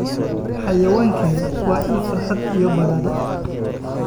Xayawaankani waa il farxad iyo badhaadhe.